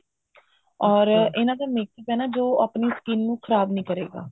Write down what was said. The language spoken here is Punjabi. or ਇਹਨਾ ਦਾ makeup ਹੈ ਨਾ ਜੋ ਆਪਣੀ skin ਨੂੰ ਖ਼ਰਾਬ ਨਹੀਂ ਕਰੇਗਾ